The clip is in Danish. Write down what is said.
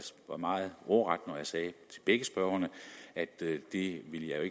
var meget ordret når jeg sagde til begge spørgerne at det ville jeg